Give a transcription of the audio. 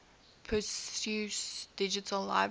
perseus digital library